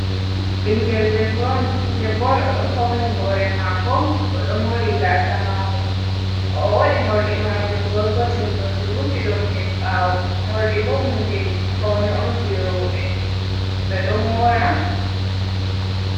bingel debbo on o do fauni hore mako o do mori gasa mako o wadi morri majum gorgotel oo rufi dum hed bawo mordi bo hunde fauni on je robe be do mora